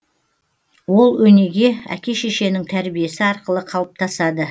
ол өнеге әке шешенің тәрбиесі арқылы қалыптасады